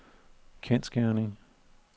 kendsgerning